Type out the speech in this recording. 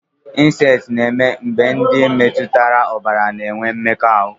Insesti na-eme mgbe ndị metụtara ọbara na-enwe mmekọahụ.